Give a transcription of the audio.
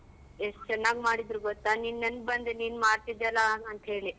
ಎಷ್ಟ್ ಚೆನ್ನಾಗ್ ಮಾಡಿದ್ರು ಗೊತ್ತ ನಿನ್ ನೆನ್ಪ್ ಬಂದ್ ನೀನ್ ಮಾಡ್ತಿದ್ಯಲ್ಲ ಅಂತೇಳಿ.